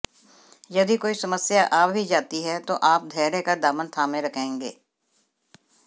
यदि कोई समस्या आ भी जाती है तो आप धैर्य का दामन थामे रहेंगे